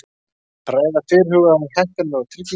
Ræða fyrirhugaðar hækkanir á tryggingum